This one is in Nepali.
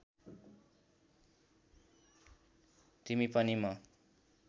तिमी पनि म